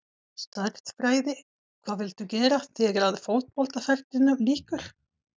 Stærðfræði Hvað viltu gera þegar að fótboltaferlinum lýkur?